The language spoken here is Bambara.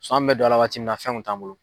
an bɛ don a la waati min na fɛnw kun t'an bolo.